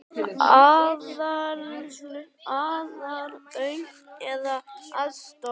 Aðlögun eða aðstoð